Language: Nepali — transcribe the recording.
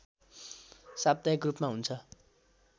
साप्ताहिक रूपमा हुन्छ